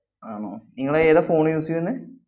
ആണോ? നിങ്ങള് ഏതാ phone use ചെയ്യുന്നേ?